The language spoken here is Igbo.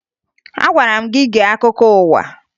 Agwara m gị gee akụkọ ụwa!